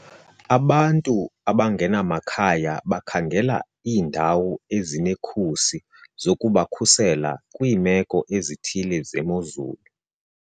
Abantu abangenamakhaya bakhangela iindawo ezinekhusi zokubakhusela kwiimeko ezithile zemozulu.